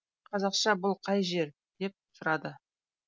қазақша бұл қай жер деп сұрады